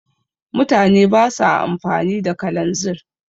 mutane ba sa amfani da kalanzir